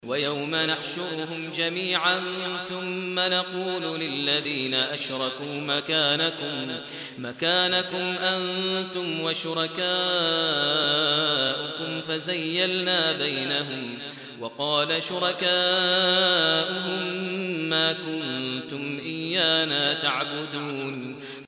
وَيَوْمَ نَحْشُرُهُمْ جَمِيعًا ثُمَّ نَقُولُ لِلَّذِينَ أَشْرَكُوا مَكَانَكُمْ أَنتُمْ وَشُرَكَاؤُكُمْ ۚ فَزَيَّلْنَا بَيْنَهُمْ ۖ وَقَالَ شُرَكَاؤُهُم مَّا كُنتُمْ إِيَّانَا تَعْبُدُونَ